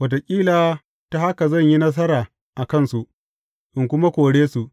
Wataƙila ta haka zan yi nasara a kansu, in kuma kore su.’